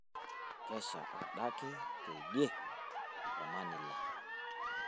kesha adake teidie temanila